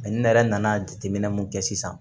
ne yɛrɛ nana jateminɛ mun kɛ sisan